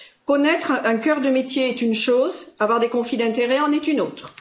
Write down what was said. Connaître un cœur de métier est une chose. Avoir des conflits d'intérêts en est une autre.